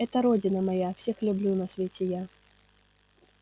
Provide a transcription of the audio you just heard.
это родина моя всех люблю на свете я